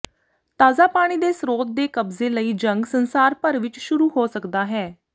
ਤਾਜ਼ਾ ਪਾਣੀ ਦੇ ਸਰੋਤ ਦੇ ਕਬਜ਼ੇ ਲਈ ਜੰਗ ਸੰਸਾਰ ਭਰ ਵਿੱਚ ਸ਼ੁਰੂ ਹੋ ਸਕਦਾ ਹੈ